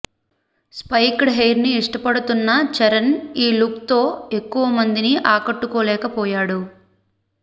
spiked హెయిర్ని ఇష్టపడుతున్న చరణ్ ఈ లుక్తో ఎక్కువ మందిని ఆకట్టుకోలేకపోయాడు